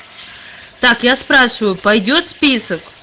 так я спрашиваю пойдёт список